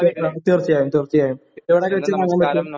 Okay കാണാം. തീർച്ചയായും തീർച്ചയായും എവിടെ വെച്ച് കാണാൻ പറ്റും?